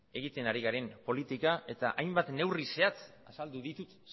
egiten ari garen politika eta hainbat neurri zehatz azaldu ditut